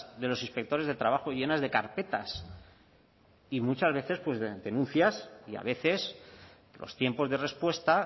de los inspectores de trabajo llenas de carpetas y muchas veces pues de denuncias y a veces los tiempos de respuesta